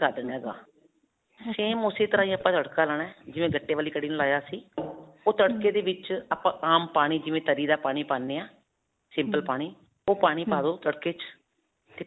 ਕਰ ਦੇਣਾ ਹੈਗਾ same ਉਸੇ ਤਰ੍ਹਾਂ ਹੀ ਆਪਾਂ ਤੜਕਾ ਲਾਉਣਾ ਹੈ, ਜਿਵੇਂ ਗੱਟੇ ਵਾਲੀ ਕੜੀ ਨੂੰ ਲਾਇਆ ਸੀ. ਉਹ ਤੜਕੇ ਦੇ ਵਿਚ ਆਪਾਂ ਆਮ ਪਾਣੀ ਜਿਵੇਂ ਤਰੀ ਦਾ ਪਾਣੀ ਪਾਉਂਦੇ ਹਾਂ simple ਪਾਣੀ ਉਹ ਪਾਣੀ ਪਾ ਦੋ ਤੜਕੇ 'ਚ ਤੇ.